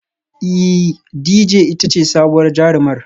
Ee Dejay ita ce sabuwar jarumar